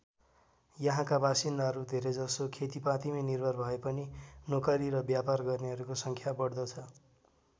यहाँका बासिन्दाहरू धेरैजसो खेतिपातीमै निर्भर भएपनि नोकरी र व्यापार गर्नेहरूको सङ्ख्या बढ्दो छ।